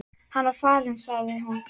Þegar hann var farinn sagði hún